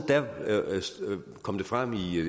kom det frem